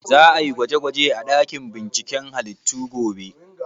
Za a yi gwaje gwaje a ɗakin binciken halittu gobe?